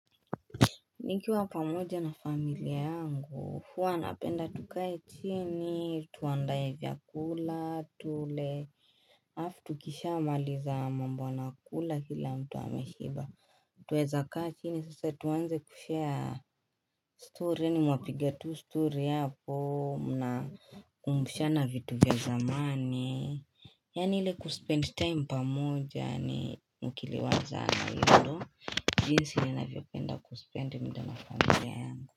Nikiwa pamoja na familia yangu, huwa tunapenda tukae chini, tuandae vyakula, tule, hafu tukisha maliza mambo na kula hila mtu ameshiba. Tuweza kaa chini sasa tuanze kushare story mwapigia tu story hapo na kukumbushana vitu vya zamani Yani ile kuspend time pamoja ni mkiliwaza yaani ndio jinsi ninavyopenda kuspend muda na familia yangu.